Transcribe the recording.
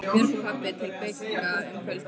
Björg og pabbi til Bigga um kvöldið.